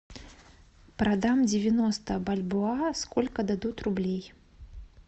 продам девяносто бальбоа сколько дадут рублей